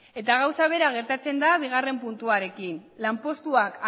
eta gauza bera gertatzen da bigarren puntuarekin lanpostuak